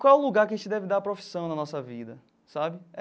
Qual é o lugar que a gente deve dar profissão na nossa vida sabe?